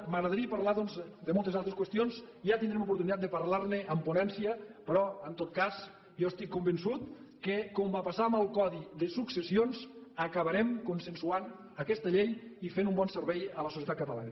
m’agradaria doncs parlar de moltes altres qüestions ja tindrem oportunitat de parlar ne en ponència però en tot cas jo estic convençut que com va passar amb el codi de successions acabarem consensuant aquesta llei i fent un bon servei a la societat catalana